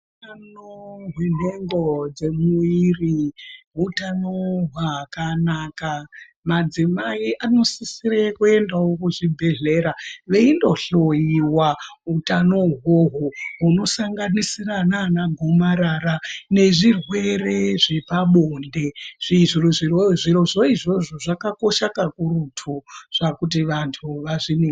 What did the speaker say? Hutano hwenhengo dzemuwiri hutano hwakanaka, madzimai anosisire kuendawo kuchibhedhlera veindohloiwa utano uhwohwo hunosanganisira nana gomarara nezvirwere zvepabonde , zvirozvo izvozvo zvakakosha kakurutu kuti vantu vazviningirwe.